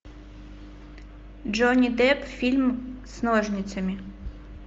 джонни депп фильм с ножницами